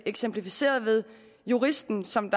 eksemplificeret ved juristen som